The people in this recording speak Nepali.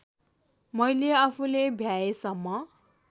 मैले आफूले भ्याएसम्म